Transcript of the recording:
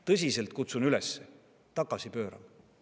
Tõsiselt, kutsun üles tagasi pöörama.